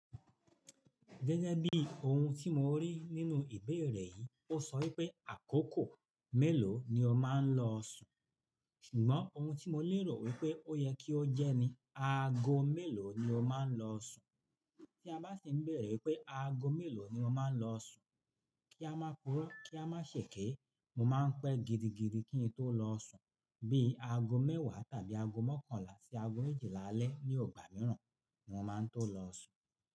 Gẹ́gẹ́ bí oun tí mo rí nínú ìbéèrè yìí, ó sọ wípé àkókò mélòó ni ó máa ń lọ sùn. Ṣùgbọ́n oun tí mo lérò wípé ó yẹ kí ó jẹ́ ni aago mélòó ni ó máa ń lọ sùn. Tí a bá sì ń bèrè ípé aago mélòó ni mo máa ń lọ sùn, kí a máa puró kí a maá ṣe eké, mo máa ń pẹ́ gidigidi kí n tó lọ sùn. Bí i aago mẹ́wàá tàbí aago mọ́kànlá sí aago méjìlá alẹ́ ni ọgbà mííràn ni mo máa ń tó lọ sùn.